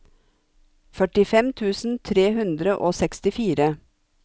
førtifem tusen tre hundre og sekstifire